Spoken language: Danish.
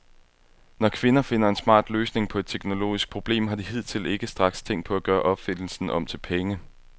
Når kvinder finder en smart løsning på et teknologisk problem, har de hidtil ikke straks tænkt på at gøre opfindelsen om til penge.